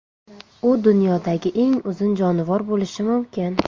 U dunyodagi eng uzun jonivor bo‘lishi mumkin.